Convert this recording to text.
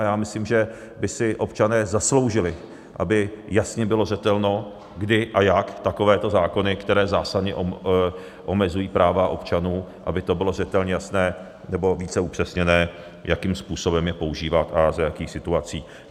A já myslím, že by si občané zasloužili, aby jasně bylo zřetelné, kdy a jak takovéto zákony, které zásadně omezují práva občanů, aby to bylo zřetelně jasné nebo více upřesněné, jakým způsobem je používat a za jakých situací.